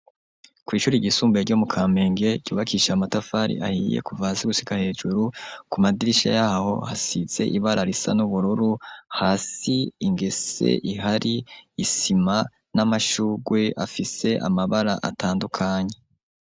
Kw'ishure ryisumbuye ryo mu kamenge, ryubakishijwe amatafari ahiye kuva hasi gushika hejuru ,ku madirisha yaho hasize ibararisa n'ubururu, hasi ingese ihari ,isima ,n'amashurwe afise amabara atandukanye.